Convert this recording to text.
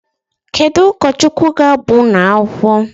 Kedu ụkọchukwu ga-agba unu akwukwọ?